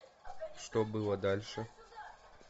что было дальше